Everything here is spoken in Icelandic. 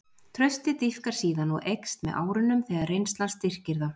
Traustið dýpkar síðan og eykst með árunum þegar reynslan styrkir það.